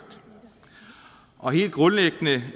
og helt grundlæggende